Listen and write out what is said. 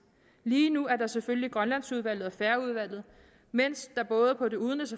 lige nu er der selvfølgelig grønlandsudvalget og færøudvalget mens der både på det udenrigs